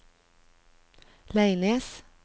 Leines